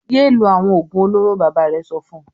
"Yé lo àwọn òògùn olóró!" Bàbá rẹ̀ sọ fún un.